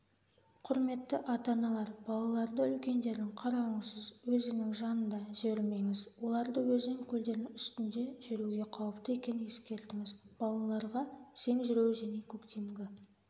құрметті ата-аналар балаларды үлкендердің қарауыңсыз өзеннің жанына жібермеңіз оларды өзен көлдердін үстінде жүруге қауіпті екенін ескертіңіз балаларға сең жүру және көктемгі